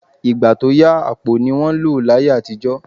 Ìgbà tó yà, àpò ni wọ́n lò láyé àtijọ́